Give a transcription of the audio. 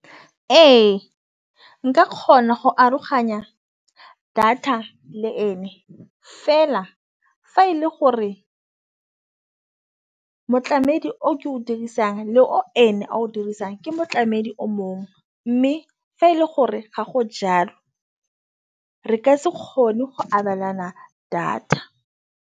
Ee, nka kgona go aroganya data le ene fela fa e le gore motlamedi o o ke o dirisang le o ene a o dirisang ke motlamedi o mongwe mme fa e le gore ga go jalo re ka se kgone go abelana data.